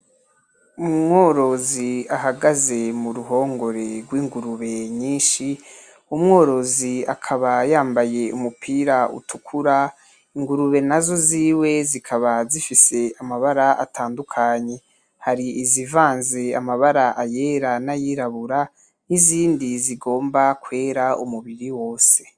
Umworozi ahagaze muruhongore rw'ingurube nyishi, umworozi akaba yambaye umupira utukura ingurube nazo ziwe zikaba zifise amabara atandukanye. Hari izivanze amabara ayera n'ayirabura n'izindi zigomba kwera umubiri wose .